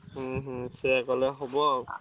ହୁଁ ହୁଁ ସେୟା କଲେ ହବ।